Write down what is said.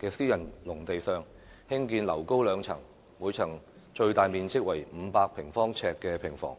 近私人農地上興建樓高兩層、每層最大面積為500平方呎的平房。